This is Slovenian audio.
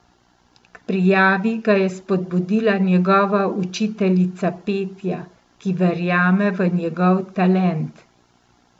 K prijavi ga je spodbudila njegova učiteljica petja, ki verjame v njegov talent.